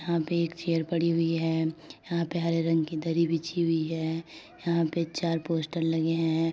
यहां पे एक चेयर पड़ी हुई है। यहां पे हरे रंग की दरी बिछी हुई है। यहां पे चार पोस्टर लगे हैं।